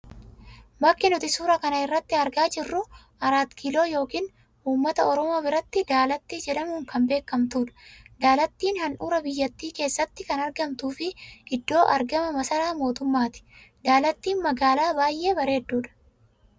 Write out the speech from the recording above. Bakki nuti suuraa kana irratti argaa jirru 'Arat Kiiloo' yookiin ummata Oromoo biratti Daalattii jedhamuun kan beekamtuu dha. Daalattiin handhuura biyyattii keessatti kan argamtuu fi iddoo argama masaraa mootummaati. Daalattiin magaalaa baay'ee bareedduu dha.